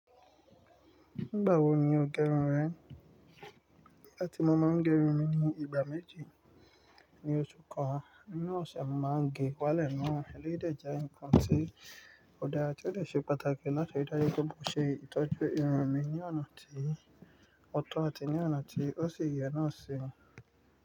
Nígbà wo ni o gerun rẹ? Nigbáti mo máa ń gerun mi ní ìgbà méjì ní oṣù kan, ninú ọ̀ṣẹ̀ mo máa ń ge wálẹ̀ náà. Eléyi de je ǹkan tí ò dára, tí ó dè ṣe pàtàkì láti rí dájú pé mo ṣe ìtọ́jú irun mi ní ọ̀nà tí ó tọ́ àti ní ọ̀nà tí ó sì yẹ náà ṣi.